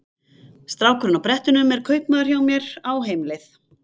Strákurinn á brettunum er kaupamaður hjá mér, á heimleið.